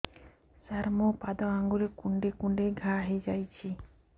ସାର ମୋ ପାଦ ଆଙ୍ଗୁଳି କୁଣ୍ଡେଇ କୁଣ୍ଡେଇ ଘା ହେଇଯାଇଛି